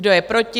Kdo je proti?